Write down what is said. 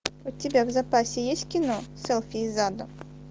у тебя в запасе есть кино селфи из ада